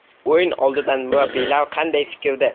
O‘yin oldidan murabbiylar qanday fikrda?